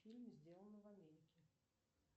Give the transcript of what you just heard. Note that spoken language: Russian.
фильм сделано в америке